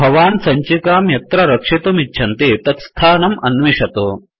भवन् सञ्चिकां यत्र रक्षितुमिच्छन्ति तत्स्थानम् अन्विषतु